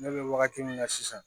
Ne bɛ wagati min na sisan